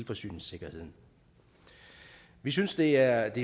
forsyningssikkerheden vi synes det er